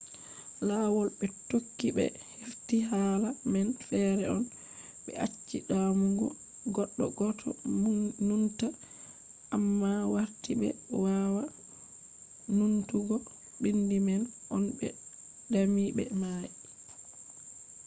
lawol be tokki be hefti hala man fere on. be acci damugo goddo goto numta amma warti be wawa numtugo bindi man on be dami be mai